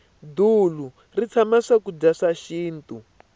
dulu ri tshama swakudya swa xinto